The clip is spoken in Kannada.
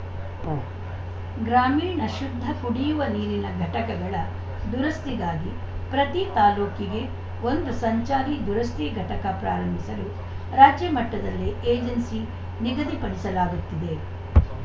ಉಂ ಗ್ರಾಮೀಣ ಶುದ್ಧ ಕುಡಿಯುವ ನೀರಿನ ಘಟಕಗಳ ದುರಸ್ತಿಗಾಗಿ ಪ್ರತಿ ತಾಲೂಕಿಗೆ ಒಂದು ಸಂಚಾರಿ ದುರಸ್ತಿ ಘಟಕ ಪ್ರಾರಂಭಿಸಲು ರಾಜ್ಯ ಮಟ್ಟದಲ್ಲೇ ಏಜೆನ್ಸಿ ನಿಗದಿಪಡಿಸಲಾಗುತ್ತಿದೆ